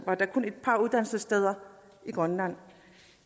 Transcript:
der kun et par uddannelsessteder i grønland